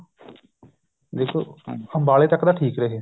ਦੇਖੋ ਅੰਬਾਲੇ ਤੱਕ ਤਾਂ ਠੀਕ ਰਹੇ